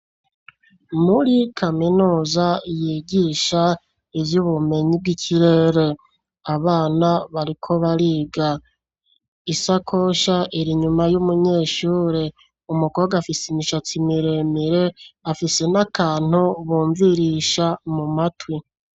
Muri kaminuza, yigisha ivy'ubumenyi bw'ikirere, abana, bariko bariga; isakosha, iri inyuma y'umunyeshure; umukobwa, afise imishatsi miremire, afise n'akantu bumvirisha mu matwi.